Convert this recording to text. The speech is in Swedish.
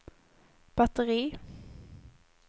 batteri